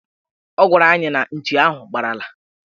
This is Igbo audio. Ọ gwara anyị na nchi ahụ gbalara